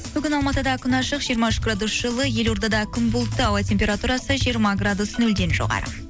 бүгін алматыда күн ашық жиырма үш градус жылы елордада күн бұлтты ауа температурасы жиырма градус нөлден жоғары